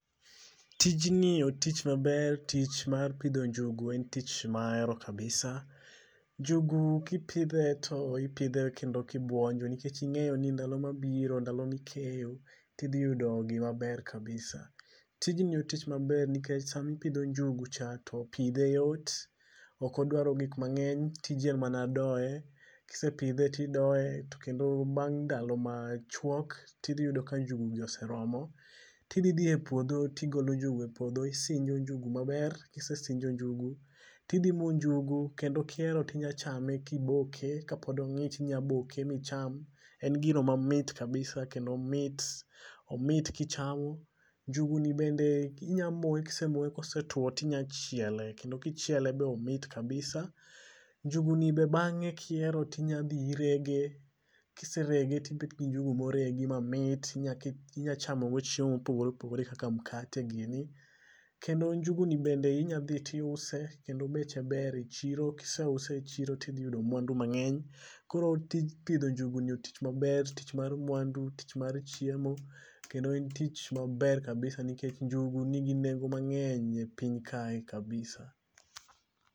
Tijni otich maber tich mar pidho njugu en tich maero kabisa. Njugu kipidhe to ipidhe kendo kibuonjo nikech ing'eyo ni ndalo mbiro ndalo mikeyo tidhi yudo gimaber kabisa. Tijni otich maber nikech samipidho njugu cha to pidhe yot, okodwaro gik mang'eny, tiji en mana doye, kisepidhe tidoye to kendo bang' ndalo machuok, tidhiyudo ka njugu gi oseromo, tidhi dhiye e puodho tigolo nguju e puodho isinjo njugu maber, kisesinjo njugu, tidhi mo njugu kendo kihero tinyachame kiboke, kapod ong'ich inyaboke micham. En gino mamit [c]kabisa kendo omit omit kichamo. Njugu ni bende inyamoye, kisemoye kosetwo tinyachiele kendo kichiele be omit kabisa. Njugu ni be bang'e kiero tinyadhi irege, kiserege tibet gi njugu moregi mamit tinyachamo go chiemo mopogore opogore kaka mkate gini. Kendo njugu ni bende inyadhi tiuse kendo beche ber e chiro kiseuse e chiro tidhiyudo mwandu mang'eny. Koro tij pidho njugu ni otich maber tich mar mwandu, tich mar chiemo, kendo en tich maber kabisa nikech njugu nigi nengo mang'eny e piny kae kabisa